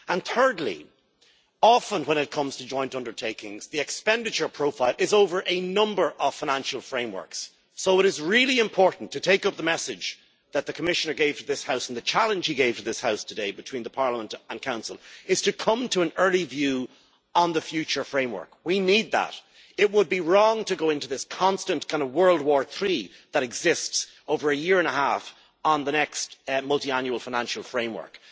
Thirdly, often when it comes to joint undertakings the expenditure profile is over a number of financial frameworks. So it is really important to take up the message that the Commissioner gave to this House and the challenge he gave to this House today between the Parliament and Council that we need to come to an early view on the future framework. It would be wrong to go into this constant World War III that exists over a year and a half on the next Multiannual Financial Framework.